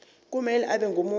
kumele abe ngumuntu